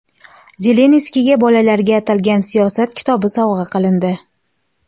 Zelenskiyga bolalarga atalgan Siyosat kitobi sovg‘a qilindi .